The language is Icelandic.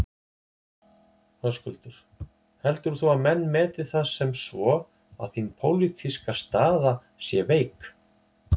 Höskuldur: Heldur þú að menn meti það sem svo að þín pólitíska staða sé veik?